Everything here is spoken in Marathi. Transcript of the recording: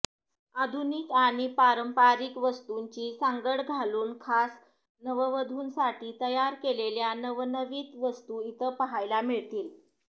आधुनिक आणि पारंपरिक वस्तूंची सांगड घालून खास नववधूंसाठी तयार केलेल्या नवनवीन वस्तू इथं पाहायला मिळतील